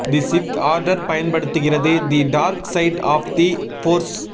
தி Sith order பயன்படுத்துகிறது the dark side of the force